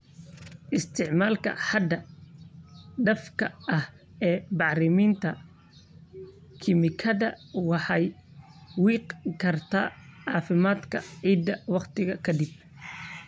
Isticmaalka xad dhaafka ah ee bacriminta kiimikada waxay wiiqi kartaa caafimaadka ciidda waqti ka dib.